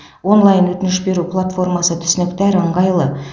онлайн өтініш беру платформасы түсінікті әрі ыңғайлы